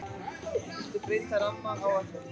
Vilja breyta rammaáætlun